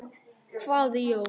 hváði Jón.